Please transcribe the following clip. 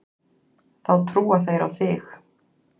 Þá trúa þeir á þig.